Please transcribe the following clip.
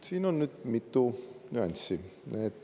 Siin on nüüd mitu nüanssi.